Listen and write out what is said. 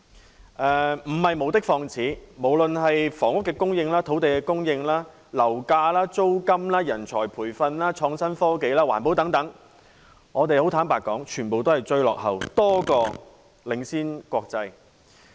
這番批評絕不是無的放矢，在房屋供應、土地供應、樓價、租金、人才培訓、創新科技、環保等範疇，坦白說，我們在國際上全部都是落後多於領先。